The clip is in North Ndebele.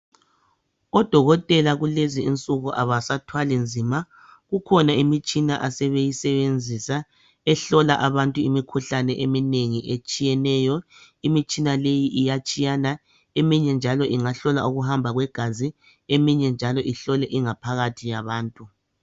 Odokotela kulezi insuku abasathwali nzima kukhona imitshina asebeyisebenzisa ehlola abantu imikhuhlane eminengi etshiyeneyo. Imitshina leyi iyatshiyana eminye njalo ingahlola ukuhamba kwegazi eminye njalo ihlole ingaphakathi yabantu.